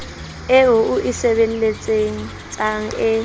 eo o e sebeletsang e